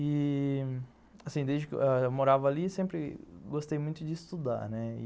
E, assim, desde que eu morava ali, sempre gostei muito de estudar, né?